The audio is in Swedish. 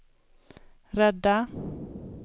rädda